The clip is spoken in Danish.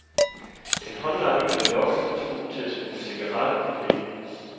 En håndlanger blev lokket og truet til at smugle cigaretter og penge.